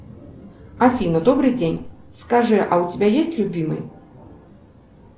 афина добрый день скажи а у тебя есть любимый